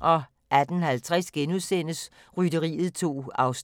18:50: Rytteriet 2 (4:10)*